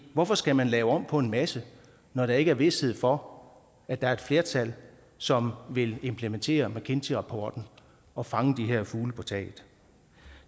hvorfor skal man lave om på en masse når der ikke er vished for at der er et flertal som vil implementere mckinsey rapporten og fange de her fugle på taget